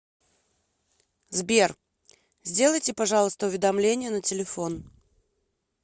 сбер сделайте пожалуйста уведомление на телефон